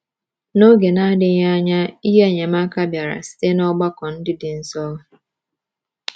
N’oge na-adịghị anya, ihe enyemaka bịara site n’ọgbakọ ndị dị nso.